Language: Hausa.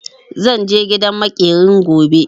Zan je gidan maƙerin gobe.